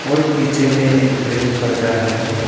और पीछे में एक ग्रीन पर्दा है।